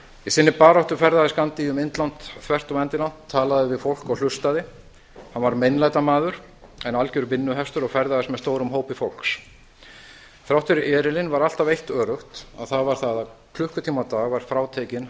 í sinni baráttu ferðaðist gandhi um indland þvert og endilangt talaði við fólk og hlustaði hann var meinlætamaður en algjör vinnuhestur og ferðaðist með stórum hópi fólks þrátt fyrir erilinn var eitt öruggt og það var það að klukkutími á dag var frátekinn